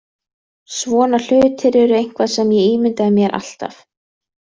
Svona hlutir eru eitthvað sem ég ímyndaði mér alltaf.